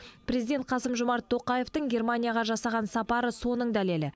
президент қасым жомарт тоқаевтың германияға жасаған сапары соның дәлелі